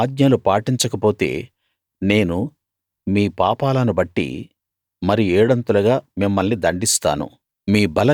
నా ఆజ్ఞలు పాటించకపోతే నేను మీ పాపాలను బట్టి మరి ఏడంతలుగా మిమ్మల్ని దండిస్తాను